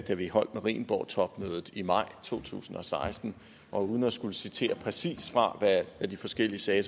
da vi holdt marienborgtopmødet i maj to tusind og seksten og uden at skulle citere præcist hvad de forskellige sagde